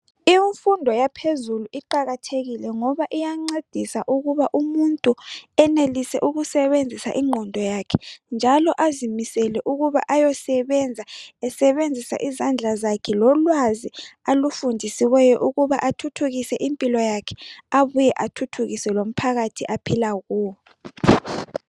Imfundo yaphezulu iqakathekile ngoba iyancedisa ukuba umuntu enelise ukusebenzisa ingqondo yakhe njalobazimisele ukuba ayosebenza, esebenzisa izandla sakhe lolwazi alufundisiweyo ukuba athuthukise impilo yakhe abuye athuthukise lomphakathi aphila kuwo.